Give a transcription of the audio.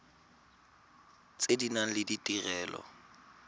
tse di nang le ditirelo